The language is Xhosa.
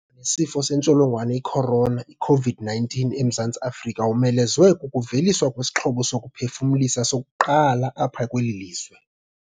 sifo sentsholongwane i-corona, iCOVID-19, eMzantsi Afrika womelezwe kukuveliswa kwesixhobo sokuphefumlisa sokuqala apha kweli lizwe.